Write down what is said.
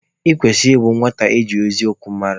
Ị kwesịrị ịbụ nwata eji eziokwu mara!